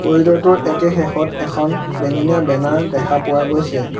Corridor টোৰ একে শেষত এখন বেঙুনীয়া বেনাৰ দেখা পোৱা গৈছে।